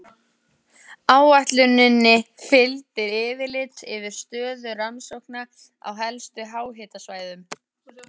Áætluninni fylgdi yfirlit yfir stöðu rannsókna á helstu háhitasvæðum.